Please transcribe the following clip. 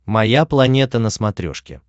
моя планета на смотрешке